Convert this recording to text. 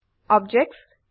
objects